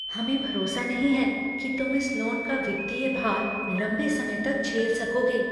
हमें भरोसा नहीं है कि तुम इस लोन का वित्तीय भार लंबे समय तक झेल सकोगे।